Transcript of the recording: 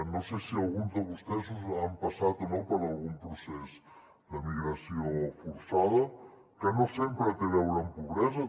no sé si alguns de vostès han passat o no per algun procés de migració forçada que no sempre té a veure amb pobresa